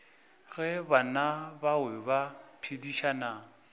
ge bana bao ba phedišana